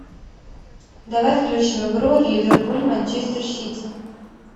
давай включим игру ливерпуль манчестер сити